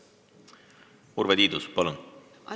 Urve Tiidus, palun!